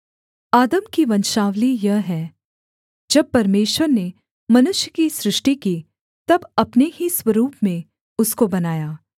आदम की वंशावली यह है जब परमेश्वर ने मनुष्य की सृष्टि की तब अपने ही स्वरूप में उसको बनाया